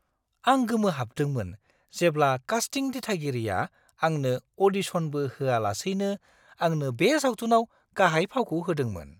आं गोमोहाबदोंमोन जेब्ला कास्टिं दिथागिरिया आंनो अ'डिशनबो होआलासैनो आंनो बे सावथुनाव गाहाय फावखौ होदोंमोन!